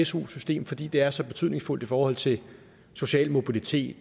su system fordi det er så betydningsfuldt i forhold til social mobilitet